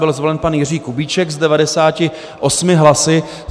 Byl zvolen pan Jiří Kubíček s 98 hlasy.